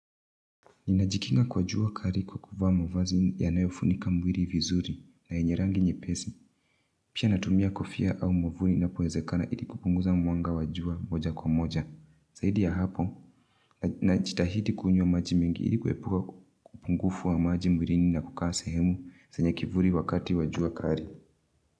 Ninajikinga kwa jua kali kwa kuvaa mavazi yanayofunika mwili vizuri na yenye rangi nyepesi. Pia natumia kofia au mwavuli inapowezekana ilo kupunguza mwanga wajua moja kwa moja. Zaidi ya hapo najitahidi kunywa maji mengi ili kuepuka upungufu wa maji mwilini na kukaa sehemu zenye kivuli wakati wa jua kali.